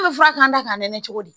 Ne bɛ fura k'an da k'a nɛnɛ cogo di